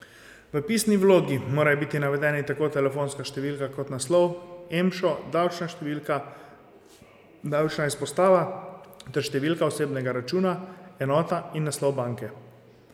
V pisni vlogi morajo biti navedeni tako telefonska številka kot naslov, emšo, davčna številka, davčna izpostava ter številka osebnega računa, enota in naslov banke.